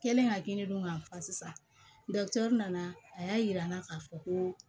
Kɛlen ka kini dun k'a fa nana a y'a jira n na k'a fɔ ko